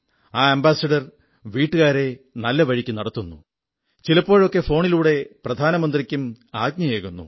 ആ അംബാസഡർ വീട്ടുകാരെ നല്ലവഴിക്കു നടത്തുന്നു ചിലപ്പഴൊക്കെ ഫോണിലൂടെ പ്രധാനമന്ത്രിക്കും ആജ്ഞയേകുന്നു